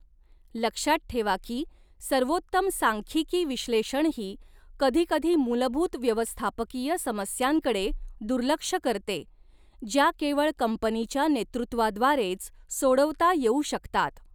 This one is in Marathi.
लक्षात ठेवा की सर्वोत्तम सांख्यिकी विश्लेषणही कधीकधी मूलभूत व्यवस्थापकीय समस्यांकडे दुर्लक्ष करते, ज्या केवळ कंपनीच्या नेतृत्वाद्वारेच सोडवता येऊ शकतात.